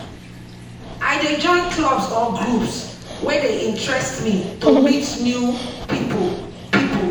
I dey join clubs or groups wey interest me to meet new people. people.